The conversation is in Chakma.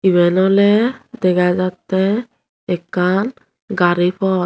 iben oley dega jattey ekkan gari pawt.